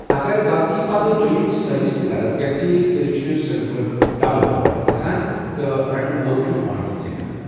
اَگَر غَلطی پَتہٕ دوٛیِم سروِس تہِ غلط گژھہِ ، تیٛلہِ چِھ سرور ڈبل فالٹ گژھان تہٕ رٹن وول چھٗ پوینٹ زینان ۔